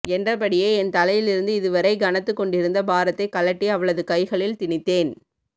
என்றபடியே என் தலையிலிருந்து இது வரை கனத்துக் கொண்டிருந்த பாரத்தை கழட்டி அவளது கைகளில் திணித்தேன்